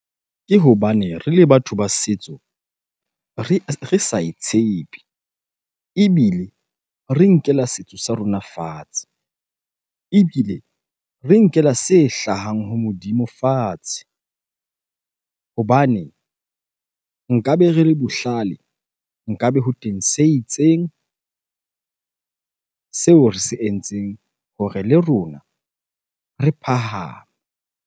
Ke hobane re le batho ba setso re sa e tshepe ebile re nkela setso sa rona fatshe, ebile re nkela se hlahang ho Modimo fatshe. Hobane nkabe re le bohlale, nkabe ho teng se itseng seo re se entseng hore le rona re phahame.